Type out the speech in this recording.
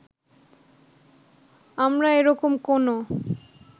আমরা এ রকম কোনো